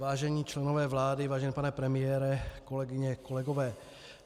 Vážení členové vlády, vážený pane premiére, kolegyně, kolegové.